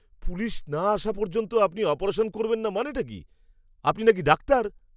Police না আসা পর্যন্ত আপনি অপারেশন করবেন না মানেটা কী? আপনি নাকি ডাক্তার!